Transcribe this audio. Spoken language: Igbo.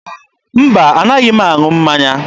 Mba, a naghị m aṅụ mmanya.